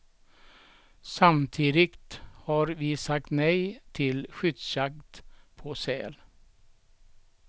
Samtidigt har vi sagt nej till skyddsjakt på säl.